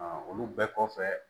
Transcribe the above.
olu bɛɛ kɔfɛ